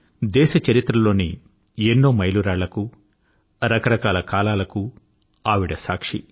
దేశ చరిత్రలోని ఎన్నో మైలురాళ్ళకు రకరకాల కాలాలకు ఆవిడ సాక్షి